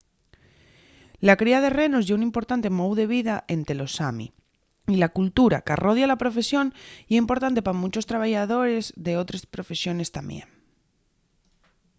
la cría de renos ye un importante mou de vida ente los sami y la cultura qu’arrodia la profesión ye importante pa munchos trabayadores d’otres profesiones tamién